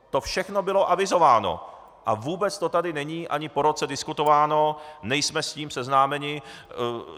To všechno bylo avizováno a vůbec to tady není ani po roce diskutováno, nejsme s tím seznámeni.